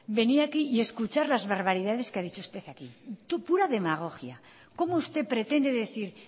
venir aquí y escuchar las barbaridades que ha dicho usted pura demagogia como usted pretende decir